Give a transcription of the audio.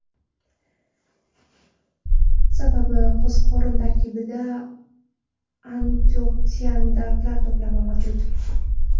Sababi qo‘ziqorin tarkibida antioksidantlar to‘plami mavjud.